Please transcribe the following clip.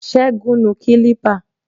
Sẹgun nu kilipa